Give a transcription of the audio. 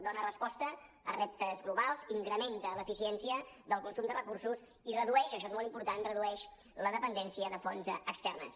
dona resposta a reptes globals incrementa l’eficiència del consum de recursos i redueix això és molt important redueix la dependència de fonts externes